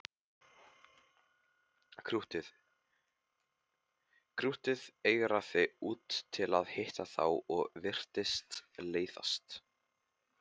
Krúttið eigraði út til að hitta þá og virtist leiðast.